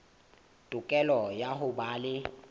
tokelo ya ho ba le